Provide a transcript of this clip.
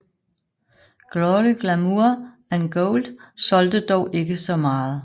Glory Glamour and Gold solgte dog ikke så meget